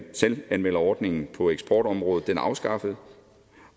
selvanmelderordningen på eksportområdet afskaffes